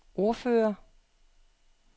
ordfører